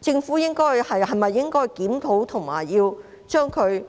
政府是否應該檢討及對其